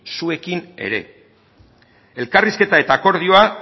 zuekin ere elkarrizketa eta akordioa